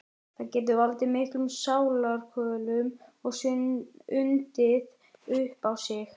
Það getur valdið miklum sálarkvölum og undið upp á sig.